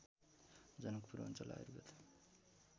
जनकपुर अञ्चल आयुर्वेद